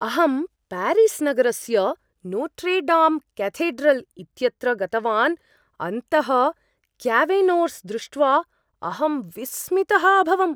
अहं प्यारिस् नगरस्य Notre Dame cathedral इत्यत्र गतवान्, अन्तः क्यावेर्नोस् दृष्ट्वा अहम् विस्मितः अभवम्।